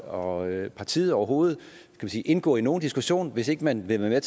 og partiet overhovedet indgå i nogen diskussion hvis ikke man vil være